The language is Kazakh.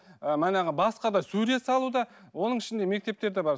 манағы басқа да сурет салуда оның ішінде мектептерде бар